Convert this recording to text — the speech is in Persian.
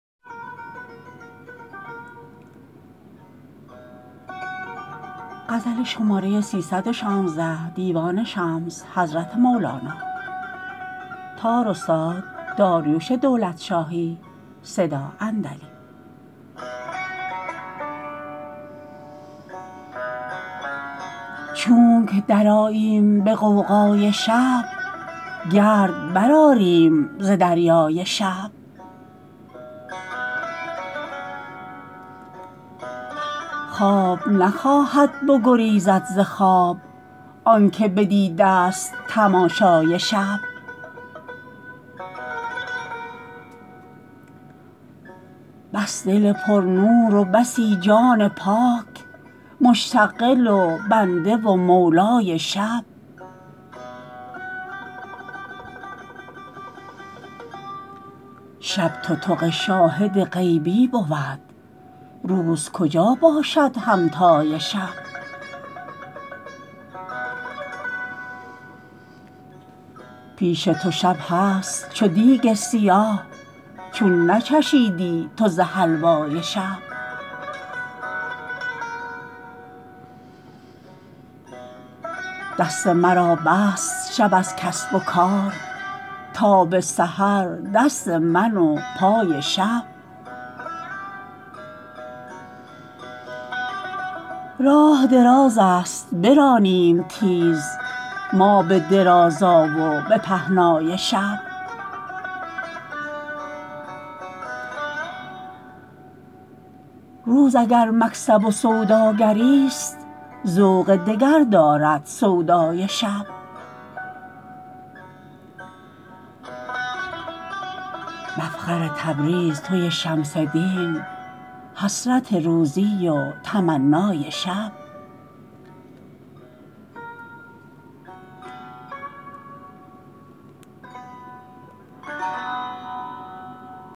چونک درآییم به غوغای شب گرد برآریم ز دریای شب خواب نخواهد بگریزد ز خواب آنک بدیدست تماشای شب بس دل پرنور و بسی جان پاک مشتغل و بنده و مولای شب شب تتق شاهد غیبی بود روز کجا باشد همتای شب پیش تو شب هست چو دیگ سیاه چون نچشیدی تو ز حلوای شب دست مرا بست شب از کسب و کار تا به سحر دست من و پای شب راه درازست برانیم تیز ما به درازا و به پهنای شب روز اگر مکسب و سوداگریست ذوق دگر دارد سودای شب مفخر تبریز توی شمس دین حسرت روزی و تمنای شب